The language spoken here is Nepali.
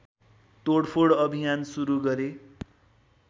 तोडफोड अभियान सुरु गरे